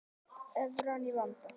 Evran í vanda